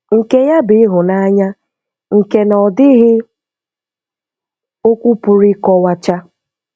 Nke ya bụ ịhụnanya nke na ọ dịghị okwu pụrụ ịkọwacha